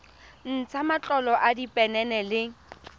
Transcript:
ntsha matlolo a diphenene le